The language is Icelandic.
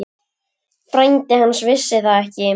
Frændi hans vissi það ekki.